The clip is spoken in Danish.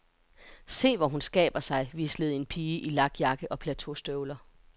Se, hvor hun skaber sig, hvislede en pige i lakjakke og plateaustøvler.